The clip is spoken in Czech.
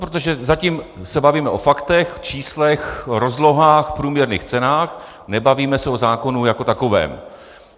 Protože zatím se bavíme o faktech, číslech, rozlohách, průměrných cenách, nebavíme se o zákonu jako takovém.